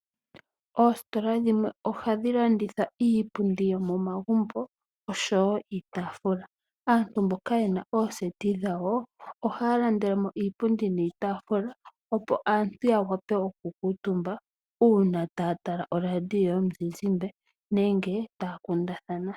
Oositola dhimwe ohadhi landitha iipundi yomomagumbo osho woo iitaafula . Aantu mboka yena ooseti dhawo, ohaya landelemo iipundi niitaafula opo aantu ya wape oku kuutumba uuna taya tala olaandiyo yomuzizimbe nenge taya kundathana .